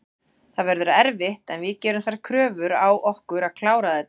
Það verður erfitt en við gerum þær kröfur á okkur að klára þetta.